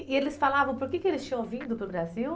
E eles falavam por que que eles tinham vindo para o Brasil?